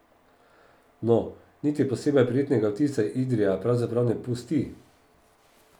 No, niti posebej prijetnega vtisa Idrija pravzaprav ne pusti.